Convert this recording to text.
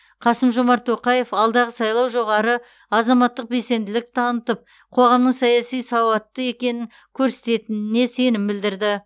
қасым жомарт тоқаев алдағы сайлау жоғары азаматтық белсенділік танытып қоғамның саяси сауатты екенін көрсететініне сенім білдірді